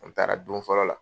An taara don fɔlɔ la.